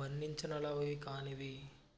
వర్ణించనలవికానివి